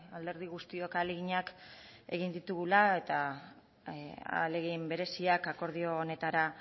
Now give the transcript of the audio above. alderdi guztiok ahaleginak egin ditugula eta ahalegin bereziak akordio honetara